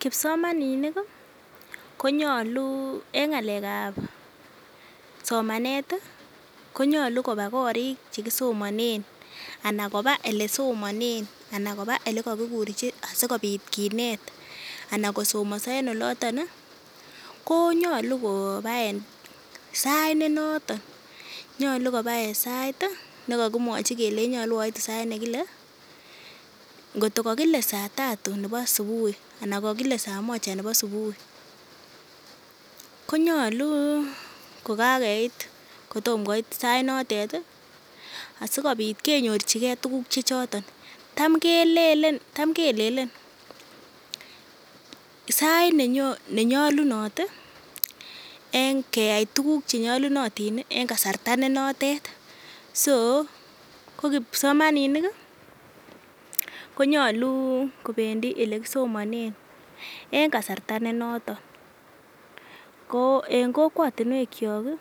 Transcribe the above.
Kipsomaninik kii konyolu en ngalekab somanet tii konyolu koba korik chekisomonet anan koba olesomonen ana koba olekokikurchi sikopit kinet anan kosomoso en oloton nii konyolu ko koba en sait ne noton, nyolu koba en sait tii nekokimwochi kelechi nyolu oitu en sait nekile kotko kokole saa tatu nebo subuhi ana kokile saa moja nebo subui konyolu ko kakeit kitom koit sait notet tii asikopit kenyorchigee tukuk che choton. Tam kelelen tam kelelen sait nenyolunot tii en keyai tukuk chenyolunotin nii en kasarta be notet ko kipsomanini konyoluu kopendii olekisomine en kasarta ne noton ko en kokwotunwek kiyok kii